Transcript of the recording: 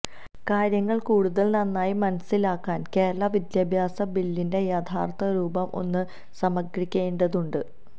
കാര്യങ്ങള് കൂടുതല് നന്നായി മനസ്സിലാക്കാന് കേരള വിദ്യാഭ്യാസ ബില്ലിന്റെ യഥാര്ത്ഥരൂപം ഒന്ന് സംഗ്രഹിക്കേണ്ടതുണ്ട്